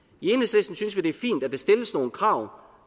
i det er fint at der stilles nogle krav